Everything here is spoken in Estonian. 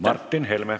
Martin Helme.